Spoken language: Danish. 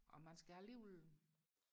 og man skal alligevel